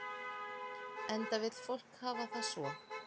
Enda vill fólk hafa það svo.